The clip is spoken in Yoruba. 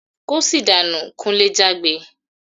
"Kóṣì dànú!" Kunle jágbe.